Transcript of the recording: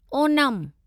Onam